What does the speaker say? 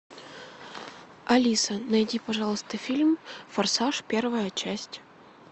алиса найди пожалуйста фильм форсаж первая часть